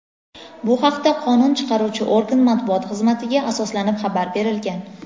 Bu haqda qonun chiqaruvchi organ matbuot xizmatiga asoslanib xabar berilgan.